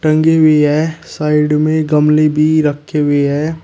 ये भी है साइड में गमले भी रखे हुए है।